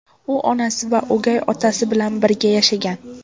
U onasi va o‘gay otasi bilan birga yashagan.